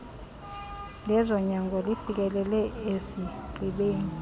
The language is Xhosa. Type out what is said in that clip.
lezonyango lifikelele esigqibeni